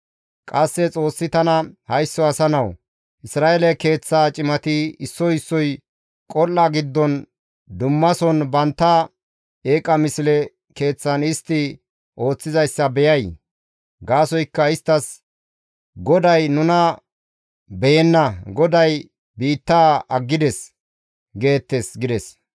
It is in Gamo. Qasse Xoossi tana, «Haysso asa nawu! Isra7eele keeththaa cimati issoy issoy qol7a giddon dhumason bantta eeqa misle keeththan istti ooththizayssa beyay? Gaasoykka istta, ‹GODAY nuna beyenna; GODAY biittaa aggides› geettes» gides.